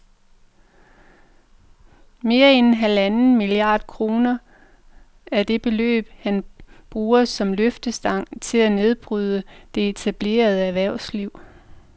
Mere end halvanden milliard kroner er det beløb, han bruger som løftestang til at nedbryde det etablerede erhvervsliv